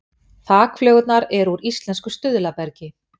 Þakflögurnar eru úr íslensku stuðlabergi